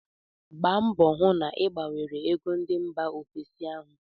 Gba mbọọ hụ na ị gbanwere ego ndị mba ofesi ahu!